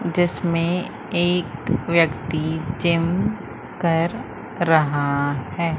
जिसमें एक व्यक्ति जिम कर रहा है।